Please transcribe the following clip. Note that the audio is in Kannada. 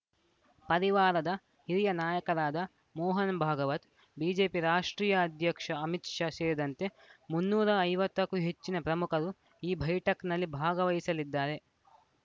ಪದಿವಾರದ ಹಿರಿಯ ನಾಯಕರಾದ ಮೋಹನ್‌ ಭಾಗವತ್‌ ಬಿಜೆಪಿ ರಾಷ್ಟ್ರೀಯ ಅಧ್ಯಕ್ಷ ಅಮಿತ್‌ ಶಾ ಸೇರಿದಂತೆ ಮುನ್ನೂರ ಐವತ್ತ ಕ್ಕೂ ಹೆಚ್ಚಿನ ಪ್ರಮುಖರು ಈ ಬೈಠಕ್‌ನಲ್ಲಿ ಭಾಗವಹಿಸಲಿದ್ದಾರೆ